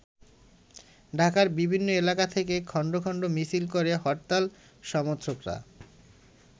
ঢাকার বিভিন্ন এলাকা থেকে খন্ড খন্ড মিছিল করে হরতাল সমর্থকরা।